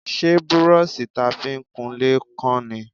Ṣé brọ́ṣì ta fi ń kunlé kán ni?